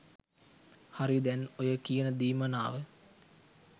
හරි දැන් ඔය කියන දීමනාව